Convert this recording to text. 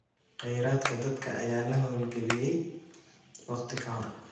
Khayraadka dadka ayaa la hawlgeliyay wakhti ka hor.